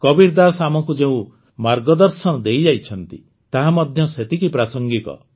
କବୀର ଦାଶ ଆମକୁ ଯେଉଁ ମାର୍ଗଦର୍ଶନ ଦେଇଯାଇଛନ୍ତି ତାହା ମଧ୍ୟ ସେତିକି ପ୍ରାସଙ୍ଗିକ